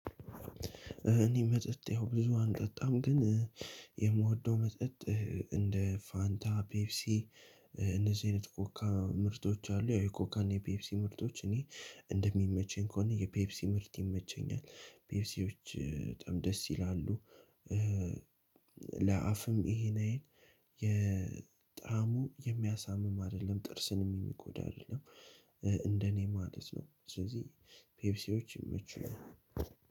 እኔ መጠጥ ያው ብዙ አልጠጣም ግን የምወደው መጠጥ እንደ ፋንታ ፔፕሲ እነዚህ አይነት ኮካ ምርቶች አሉ የኮካና የፔፕሲ ምርቶች እኔ እንደሚመቸኝ ከሆነ የፔፕሲ ምርት ይመቸኛል ፔፕሲዎች በጣም ደስ ይላሉ። ለአፍም ይሄን የጣሙ የሚያሳምም አይደለም ጥርስንም የሚጎዳል አትደለም። እንደኔ ማለት ነው። ስለዚህ ፔፕሲዎች ይመቹኛል።